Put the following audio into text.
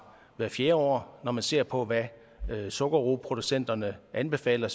hvert fjerde år når man ser på hvad sukkerroeproducenterne anbefaler